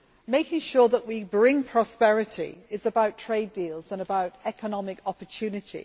Making sure that we bring prosperity is about trade deals and about economic opportunity.